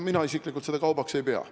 Mina isiklikult seda kaubaks ei pea.